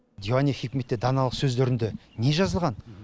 диуани хикметте даналық сөздерінде не жазылған